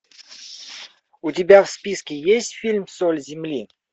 у тебя в списке есть фильм соль земли